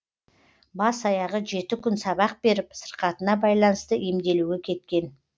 бас аяғы жеті күн сабақ беріп сырқатына байланысты емделуге кеткен